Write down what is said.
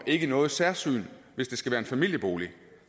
ikke noget særsyn hvis det skal være en familiebolig